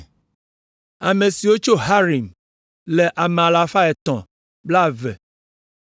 Ame siwo tso Harim le ame alafa etɔ̃ kple blaeve (320).